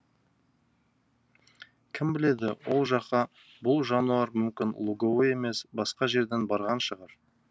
кім біледі ол жаққа бұл жануар мүмкін луговой емес басқа жерден барған шығар